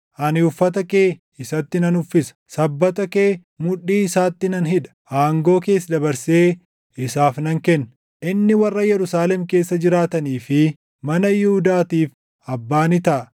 Ani uffata kee isatti nan uffisa; sabbata kee mudhii isaatti nan hidha; aangoo kees dabarsee isaaf nan kenna. Inni warra Yerusaalem keessa jiraatanii fi mana Yihuudaatiif abbaa ni taʼa.